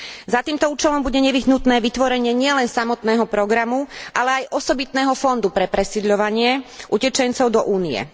Za týmto účelom bude nevyhnutné vytvorenie nielen samotného programu, ale aj osobitného fondu pre presídľovanie utečencov do Únie.